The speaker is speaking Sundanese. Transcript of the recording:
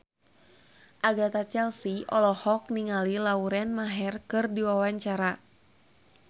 Agatha Chelsea olohok ningali Lauren Maher keur diwawancara